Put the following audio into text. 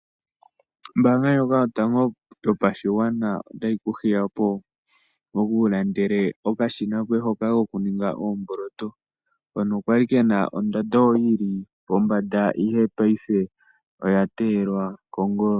Ombaanga ndjoka yotango yopashigwana otayi kuhiya opo wu ilandele okashina koye hoka koku ninga oomboloto hono kali kena ondando yili pombanda ihe paife oya teyelwa kongolo.